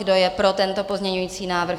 Kdo je pro tento pozměňovací návrh?